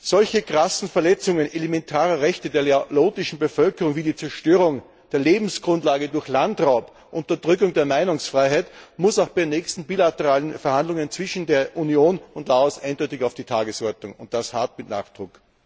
Solche krassen Verletzungen elementarer Rechte der laotischen Bevölkerung wie die Zerstörung der Lebensgrundlage durch Landraub, Unterdrückung der Meinungsfreiheit müssen bei den nächsten bilateralen Verhandlungen zwischen der Union und Laos eindeutig auf die Tagesordnung, und das hart, mit Nachdruck.